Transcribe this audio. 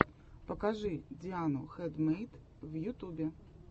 покажи диану хэндмэйд в ютубе